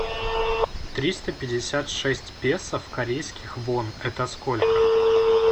триста пятьдесят шесть песо в корейских вон это сколько